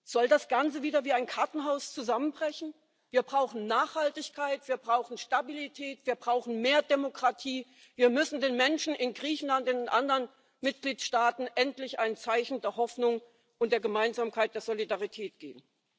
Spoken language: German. Soll das Ganze wieder wie ein Kartenhaus zusammenbrechen? Wir brauchen Nachhaltigkeit, wir brauchen Stabilität, wir brauchen mehr Demokratie, wir müssen den Menschen in Griechenland, in anderen Mitgliedstaaten endlich ein Zeichen der Hoffnung und der Gemeinsamkeit, der Solidarität geben.